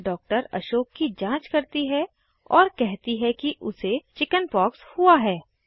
doctor Ashok की जाँच करती है और कहती है कि उसे चिकिन्पाक्स हुई हैं